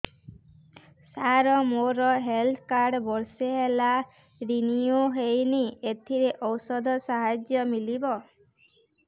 ସାର ମୋର health card ବର୍ଷେ ହେଲା ରିନିଓ ହେଇନି ଏଥିରେ ଔଷଧ ସାହାଯ୍ୟ ମିଳିବ